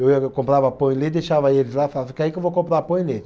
Eu ia, eu comprava pão e leite, deixava eles lá e falava, fica aí que eu vou comprar pão e leite.